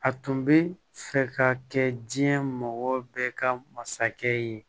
A tun bɛ fɛ ka kɛ diɲɛ mɔgɔ bɛɛ ka masakɛ ye